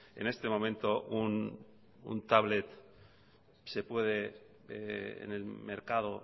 en este momento un tablet se puede en el mercado